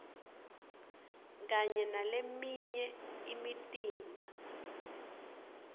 kanye naleminye imitimba